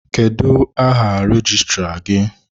Kedụ áhà rejistra gị?